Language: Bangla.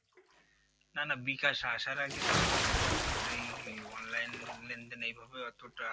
না না বিকাশ আসার আগেও তো মনে করেন আপনার এই Online লেনদেন অতটা